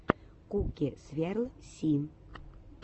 куки сверл си